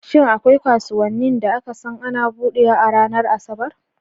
Shin akwai kasuwanni da aka san ana buɗewa a ranar Asabar?